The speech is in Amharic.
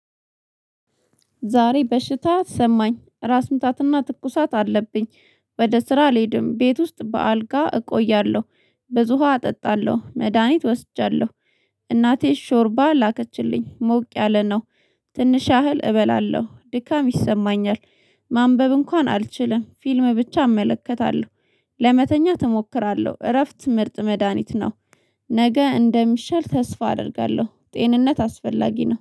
ዛሬ በሽታ ሰማኝ ራስ ምታትና ትኩሳት አለብኝ። ወደ ስራ ልሄድም ቤት ውስጥ በአልጋ እቆያለሁ። ብዙ ውሃ እጠጣለሁ መድሃኒት ወስጃለሁ። እናቴ ሾርባ ላከችልኝ ሞቅ ያለ ነው። ትንሽ ያህል እበላለሁ ድካም ይሰማኛል። ማንበብ እንኳን አልችልም ፊልም ብቻ አመለከታለሁ። ለመተኛት እሞክራለሁ እረፍት ምርጥ መድሃኒት ነው። ነገ እንደሚሻል ተስፋ አደርጋለሁ ጤንነት አስፈላጊ ነው፤